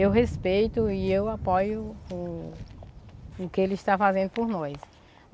Eu respeito e eu apoio o o que ele está fazendo por nós.